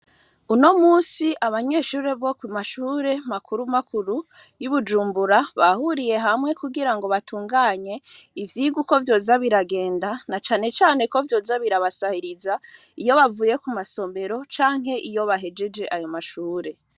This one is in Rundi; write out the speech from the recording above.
Uno musi abanyeshure bo ku mashure makuru makuru y'iubujumbura bahuriye hamwe kugira ngo batunganye ivyirwa uko vyoza biragenda na canecane ko vyoza birabasahiriza iyo bavuye ku masombero canke iyo bahejeje ayo mashure.